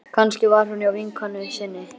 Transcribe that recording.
Kannski var hún hjá vinkonu sinni.